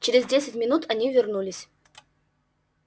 через десять минут они вернулись